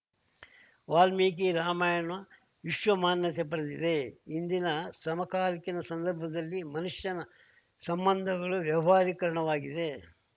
ವಾಲ್ಮೀಕಿ ರಾಮಯಣ ವಿಶ್ವಮಾನ್ಯತೆ ಪಡೆದಿದೆ ಇಂದಿನ ಸಮಾಕಾಲೀನ ಸಂದರ್ಭದಲ್ಲಿ ಮನುಷ್ಯನ ಸಂಬಂಧಗಳು ವ್ಯವಹಾರಿಕರಣವಾಗಿದೆ